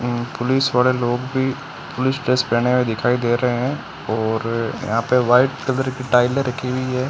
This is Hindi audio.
पुलिस वाले लोग भी पुलिस ड्रेस पहने हुए दिखाई दे रहे हैं और यहां पे वाइट कलर की टाइलें रखी हुई हैं।